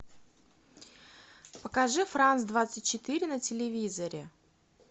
покажи франц двадцать четыре на телевизоре